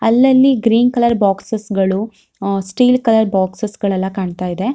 ಅಲ್ಲಲ್ಲಿ green colour ಬೊಕ್ಸೆಸ್ಗಳು ah steel colour ಬೊಕ್ಸೆಸ್ಗಳೆಲ್ಲ ಕಾಣ್ತ ಇದೆ.